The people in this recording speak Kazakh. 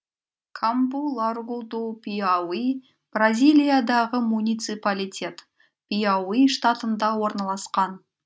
кампу ларгу ду пиауи бразилиядағы муниципалитет пиауи штатында орналасқан